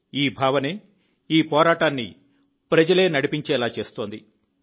ఈ భావనే ఈ పోరాటాన్ని ప్రజలే నడిపించేలా చేస్తోంది